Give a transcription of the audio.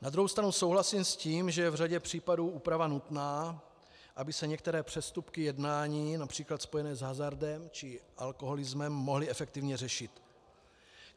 Na druhou stranu souhlasím s tím, že je v řadě případů úprava nutná, aby se některé přestupky jednání, například spojené s hazardem či alkoholismem, mohly efektivně řešit.